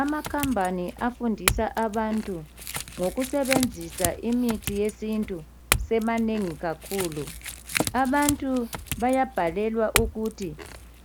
amakhambani afundisa abantu ngokusebenzisa imithi yesintu semanengi kakhulu abantu bayabhalelwa ukuthi